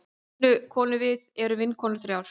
Vinkonurvið erum vinkonur þrjár.